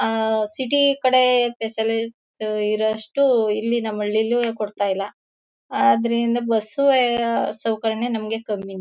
ಅಹ್ ಅಹ್ ಅಹ್ ಸಿಟಿ ಕಡೆ ಸ್ಪೆಷಲ್ಲು ಇರುವಷ್ಟು ಇಲ್ಲಿ ನಮ್ಮ ಹಳ್ಳಿಯಲ್ಲೂ ಕೊಡ್ತಾ ಇಲ್ಲ ಅದರಿಂದ ಬಸ್ಸು ಸೌಕರ್ಯ ನಮಗೆ ಕಮ್ಮಿ